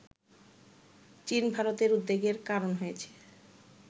চীন ভারতের উদ্বেগের কারণ হয়েছে